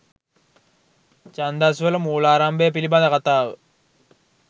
ඡන්දස් වල මූලාරම්භය පිළිබඳ කථාව